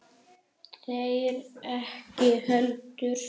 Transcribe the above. Þeir ekki heldur.